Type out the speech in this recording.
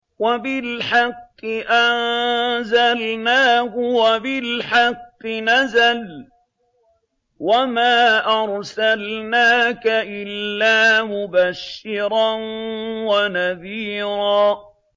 وَبِالْحَقِّ أَنزَلْنَاهُ وَبِالْحَقِّ نَزَلَ ۗ وَمَا أَرْسَلْنَاكَ إِلَّا مُبَشِّرًا وَنَذِيرًا